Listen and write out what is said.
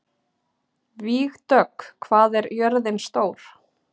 Vígdögg, hvað er jörðin stór?